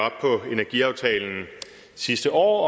energiaftalen sidste år